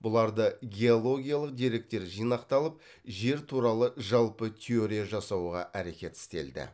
бұларда геологиялық деректер жинақталып жер туралы жалпы теория жасауға әрекет істелді